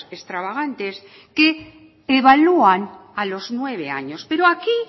extravagantes que evalúan a los nueve años pero aquí